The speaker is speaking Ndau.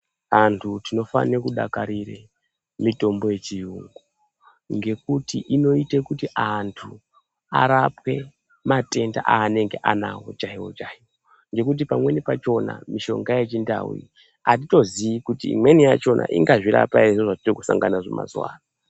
Antu tinofane kudakarire mitombo yechiyungu ngekuti inoite kuti antu arapwe matenda anenga anawo chaiwo chaiwo ngekuti pamweni pakona mishonga yechindau atitoziyi kuti imweni yachona ingazvirapa ere zviro zvatiri kusangana nazvo mazuwano.